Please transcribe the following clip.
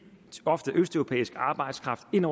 ofte østeuropæisk arbejdskraft ind